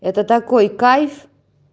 это такой кайф